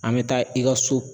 An bɛ taa i ka so